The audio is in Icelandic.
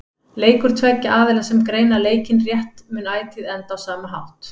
Leikur tveggja aðila sem greina leikinn rétt mun ætíð enda á sama hátt.